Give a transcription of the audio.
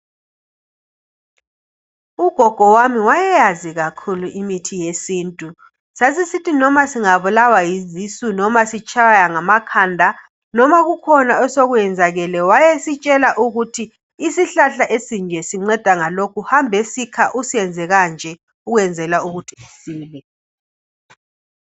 Ugogo wami wayeyazi kakhulu imithi yesintu sasisithi noma singabulawa yizisu noma sitshaywa ngamakhanda noma kukhona osekwenzakele wayesitshela ukuthi isihlahla esinje sinceda ngalokhu hambe sikha usenze kanje ukwenzela ukuthi usile